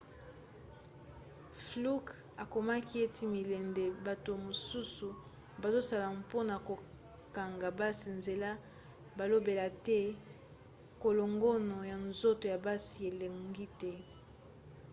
fluke akomaki ete milende bato mosusu bazosala mpona kokanga basi nzela balobela te kolongono ya nzoto ya basi elongi te